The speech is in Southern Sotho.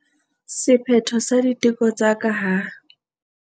Sephetho sa diteko tsa ka ha